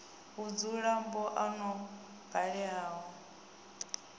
vhudzula ba oni yo baleaho